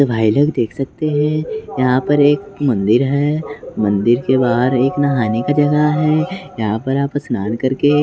तो भाई लोग देख सकते हैं यहां पर एक मंदिर है मंदिर के बाहर एक नहाने का जगह है यहां पर आप स्नान करके--